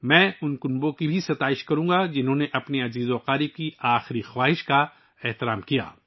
میں ان خاندانوں کی بھی تعریف کروں گا جنھوں نے اپنے پیاروں کی آخری خواہشات کا احترام کیا